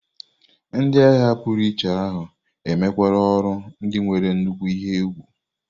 Ndị agha pụrụiche ahụ mekwara ọrụ ndị nwere nnukwu ihe egwu.